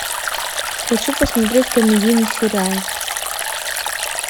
хочу посмотреть комедийный сериал